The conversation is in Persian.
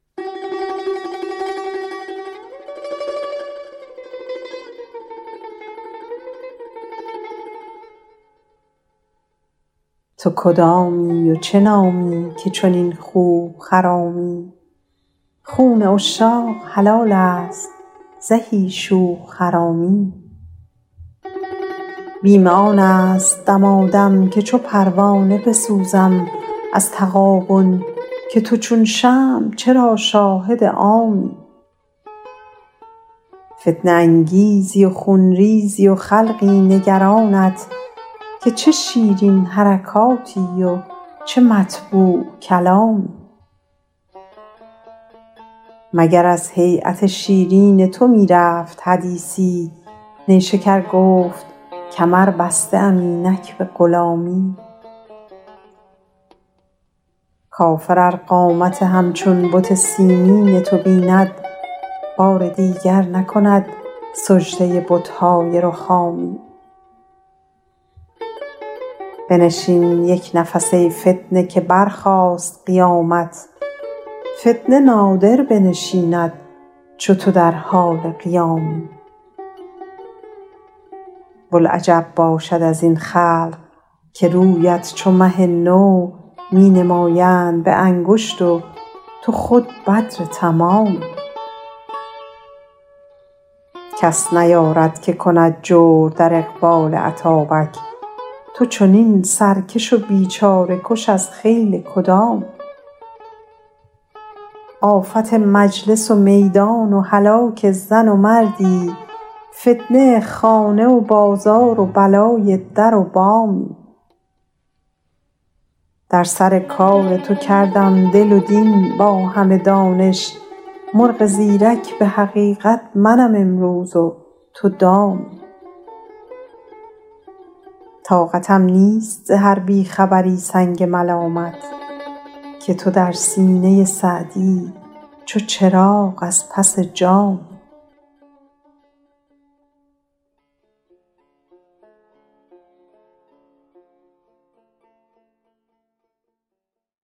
تو کدامی و چه نامی که چنین خوب خرامی خون عشاق حلال است زهی شوخ حرامی بیم آن است دمادم که چو پروانه بسوزم از تغابن که تو چون شمع چرا شاهد عامی فتنه انگیزی و خون ریزی و خلقی نگرانت که چه شیرین حرکاتی و چه مطبوع کلامی مگر از هییت شیرین تو می رفت حدیثی نیشکر گفت کمر بسته ام اینک به غلامی کافر ار قامت همچون بت سنگین تو بیند بار دیگر نکند سجده بت های رخامی بنشین یک نفس ای فتنه که برخاست قیامت فتنه نادر بنشیند چو تو در حال قیامی بلعجب باشد از این خلق که رویت چو مه نو می نمایند به انگشت و تو خود بدر تمامی کس نیارد که کند جور در اقبال اتابک تو چنین سرکش و بیچاره کش از خیل کدامی آفت مجلس و میدان و هلاک زن و مردی فتنه خانه و بازار و بلای در و بامی در سر کار تو کردم دل و دین با همه دانش مرغ زیرک به حقیقت منم امروز و تو دامی طاقتم نیست ز هر بی خبری سنگ ملامت که تو در سینه سعدی چو چراغ از پس جامی